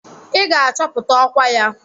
I ga-achọpụta ọkwa ya!